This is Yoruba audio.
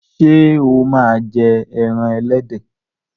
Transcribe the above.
ṣe o ma jé èràn elédè.